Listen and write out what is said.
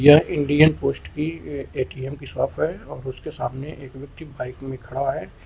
Indian post की ATM के साथ है और उसके सामने एक व्यक्ति बाइक में खड़ा है।